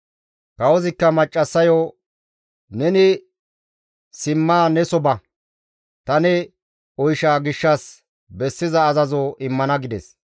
Kawozikka maccassayo, «Neni simma neso ba; ta ne oysha gishshas bessiza azazo immana» gides.